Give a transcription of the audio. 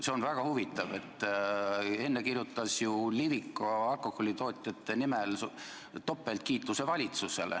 See on väga huvitav, et enne kirjutas ju Liviko alkoholitootjate nimel valitsusele topeltkiituse.